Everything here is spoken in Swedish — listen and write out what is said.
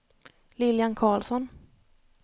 Lilian Carlsson